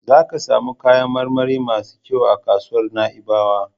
Za ki samu kayan marmari masu kyau a kasuwar Na'ibawa.